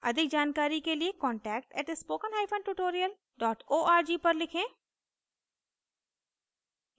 अधिक जानकारी के लिए contact @spokentutorial org पर लिखें